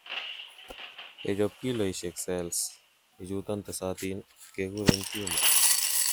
yechob kiloisiek cells ichuton tesotin ,kekuren tumor